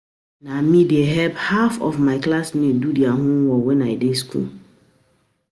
Na me dey help half of my class mates do their homework wen I dey school